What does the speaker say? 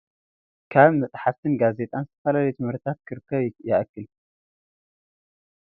ካብ መፅሓፍትን ጋዜጣን ዝተፈላለዩ ትምህርቲታት ክርከብ ይክእል ።እዛ እንሪኣ ዘለና ርእሲ መፅናዕቲ ጋት ትብል ኮይና ዝተፈላለዩ መምርሒታት ናይ ጋት እትህብ እያ።